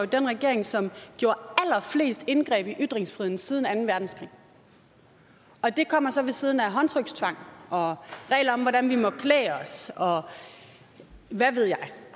den regering som har gjort allerflest indgreb i ytringsfriheden siden anden verdenskrig det kommer så ved siden af håndtrykstvang og regler om hvordan vi må klæde os og hvad ved jeg